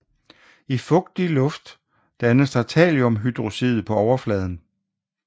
I fugtig luft dannes der thalliumhydroxid på overfladen